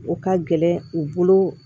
O ka gɛlɛn u bolo